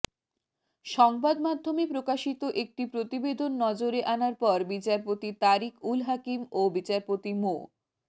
সংবাদমাধ্যমে প্রকাশিত একটি প্রতিবেদন নজরে আনার পর বিচারপতি তারিক উল হাকিম ও বিচারপতি মো